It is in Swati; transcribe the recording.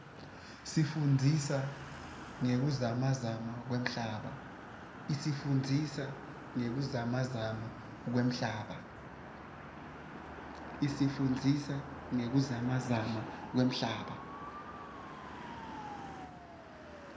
isifundzisa ngekuzamazama kwemhlaba